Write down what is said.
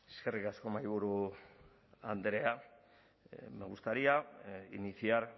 eskerrik asko mahaiburu andrea me gustaría iniciar